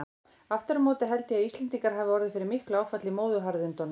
Aftur á móti held ég að Íslendingar hafi orðið fyrir miklu áfalli í móðuharðindunum.